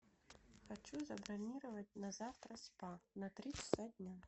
хочу забронировать на завтра спа на три часа дня